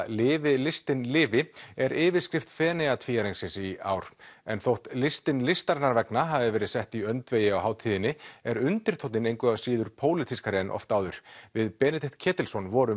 lifi listin lifi er yfirskrift Feneyjatvíæringsins í ár en þótt listin listarinnar vegna hafi verið sett í öndvegi á hátíðinni er undirtónninn engu að síður pólitískari en oft áður við Benedikt Ketilsson vorum